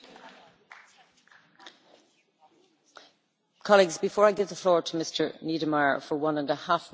Colleagues, before I give the floor to Mr Niedermayer for one and a half minutes, I have to announce that there will be no catch the eye.